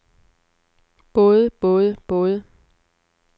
både både både